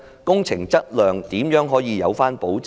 工程質量如何可以有保證？